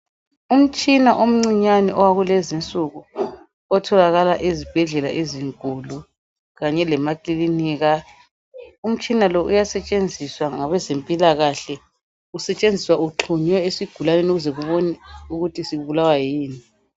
Umtshina omncinyane wakulezi nsuku otholakala ezibhedlela ezinkulu kanye lemaKilinika. Umtshina lo uyasetshenziswa ngabezempila kahle ,usetshenziswa ugxhunywe esigulaneni ukuze bebona ukuthi sibulawa yini.